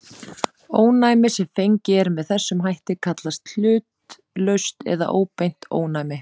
Ónæmi sem fengið er með þessum hætt kallast hlutlaust eða óbeint ónæmi.